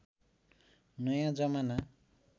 नयाँ जमाना